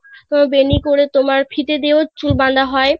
বেনি করে তোমার ফিতে দিয়েও চুল বাধা হয়